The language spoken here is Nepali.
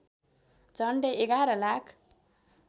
झन्डै एघार लाख